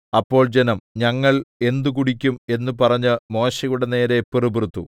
അപ്പോൾ ജനം ഞങ്ങൾ എന്ത് കുടിക്കും എന്ന് പറഞ്ഞ് മോശെയുടെ നേരെ പിറുപിറുത്തു